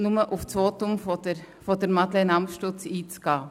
Dies, um auf das Votum von Madeleine Amstutz einzugehen.